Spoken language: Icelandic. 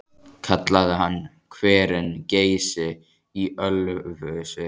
Kallaði hann hverinn Geysi í Ölfusi.